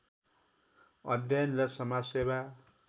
अध्ययन र समाजसेवा